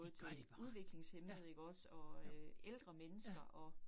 Det gør de bare, ja, jo, ja